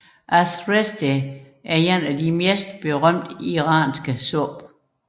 Ash reshteh er blandt de mest berømte iranske supper